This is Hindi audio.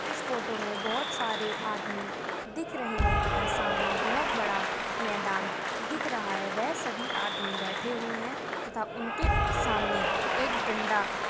इस फोटो में बहुत सारे आदमी दिख रहे हैं तथा सामने बहुत बड़ा मैदान दिख रहा है वह सभी आदमी बैठे हुए हैं तथा उनके सामने एक डंडा --